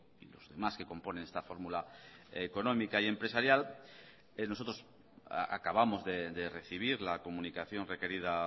y los demás que componen esta fórmula económica y empresarial nosotros acabamos de recibir la comunicación requerida